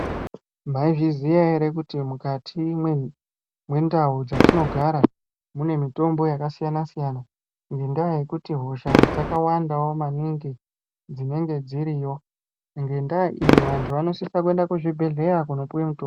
Maizviziya ere kuti mukati mwendau dzatinogara mune mitombo yakasiyana siyana ngendaa yekuti hosha dzakawandawo maningi dzinenge dziriyo ngendaa iyo anhu anosisa kuenda kuzvibhedhlera kunopuwe mutombo.